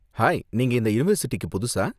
Hi, நீங்க இந்த யூனிவர்ஸிட்டிக்கு புதுசா?